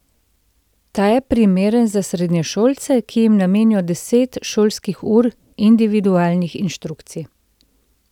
Ta je primeren za srednješolce, ki jim namenijo deset šolskih ur individualnih inštrukcij.